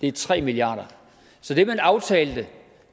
er tre milliarder så det man aftalte